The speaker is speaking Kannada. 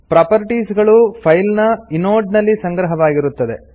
ಪ್ರೊಪರ್ಟಿಸ್ ಗಳು ಫೈಲ್ ನ ಇನೋಡ್ ನಲ್ಲಿ ಸಂಗ್ರಹವಾಗಿರುತ್ತದೆ